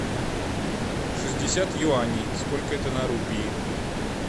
шестьдесят юаней сколько это на рупии